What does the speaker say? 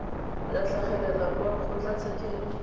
ya go tlhagelela kwa kgotlatshekelo